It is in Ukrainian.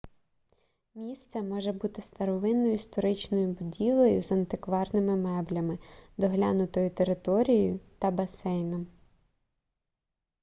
місце може бути старовинною історичною будівлею з антикварними меблями доглянутою територією та басейном